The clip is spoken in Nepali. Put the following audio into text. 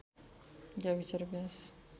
गाविस र व्यास